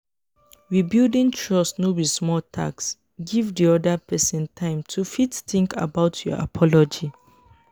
rebuilding trust no be small task give di oda person time to fit think about your apology